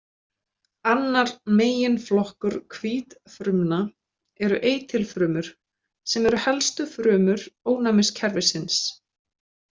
Annar meginflokkur hvítfrumna eru eitilfrumur sem eru helstu frumur ónæmiskerfisins.